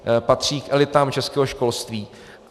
Patří k elitám českého školství.